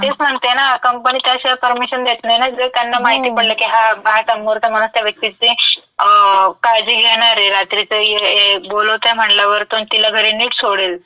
तेच म्हणते ना, कंपनी त्याशिवाय परमिशन देत नाही, जर त्यांना माहिती पडलं की हा बाहेरचा मुर्ख माणूस त्या व्यक्तीची काळजी घेणार ये, रात्रीचं बोलवताय म्हणल्यावर पण तिला घरी नीट सोडेल. हो.